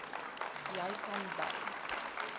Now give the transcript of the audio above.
jy kan by